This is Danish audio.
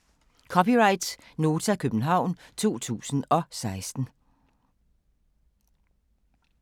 (c) Nota, København 2016